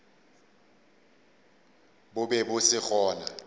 bo be bo se gona